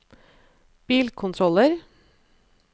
bilkontroller